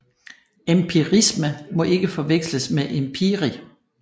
Empirisme må ikke forveksles med empiri